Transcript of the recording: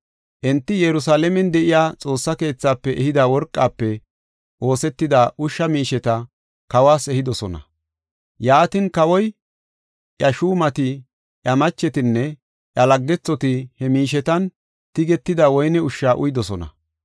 Enti Yerusalaamen de7iya Xoossa keethafe ehida worqafe oosetida ushsha miisheta kawas ehidosona. Yaatin kawoy, iya shuumati, iya machetinne iya laggethoti he miishetan tigetida woyne ushsha uyidosona.